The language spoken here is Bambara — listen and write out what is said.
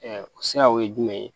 o siraw ye jumɛn ye